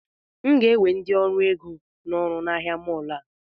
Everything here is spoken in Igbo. M ga-ewe ndị ọrụ ego n'ọrụ na ahịa mọọlụ a